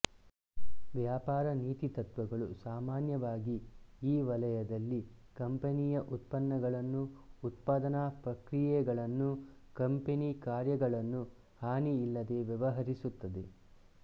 ವ್ಯಾಪಾರ ನೀತಿ ತತ್ವಗಳು ಸಾಮಾನ್ಯವಾಗಿ ಈ ವಲಯದಲ್ಲಿ ಕಂಪನಿಯ ಉತ್ಪನ್ನಗಳನ್ನು ಉತ್ಪಾದನಾ ಪ್ರಕ್ರಿಯೆಗಳನ್ನು ಕಂಪನಿ ಕಾರ್ಯಗಳನ್ನು ಹಾನಿಯಿಲ್ಲದೆ ವ್ಯವಹರಿಸುತ್ತದೆ